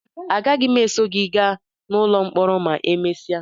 Agaghị m eso gị gaa n'ụlọ mkpọrọ ma emesịa